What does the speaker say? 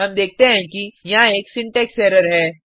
हम देखते हैं कि यहाँ एक सिंटेक्स एरर है